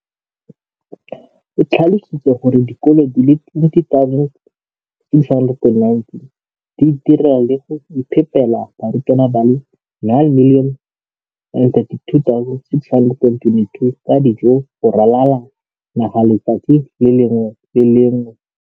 o tlhalositse gore dikolo di le 20 619 di itirela le go iphepela barutwana ba le 9 032 622 ka dijo go ralala naga letsatsi le lengwe le le lengwe.